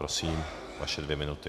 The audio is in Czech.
Prosím, vaše dvě minuty.